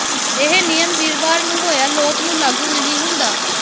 ਇਹ ਨਿਯਮ ਵੀਰਵਾਰ ਨੂੰ ਹੋਇਆ ਲੋਕ ਨੂੰ ਲਾਗੂ ਨਹੀ ਹੁੰਦਾ